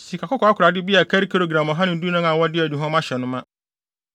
sikakɔkɔɔ akorade bi a ɛkari gram ɔha ne dunan (114) a wɔde aduhuam ahyɛ no ma;